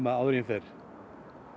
áður en ég fer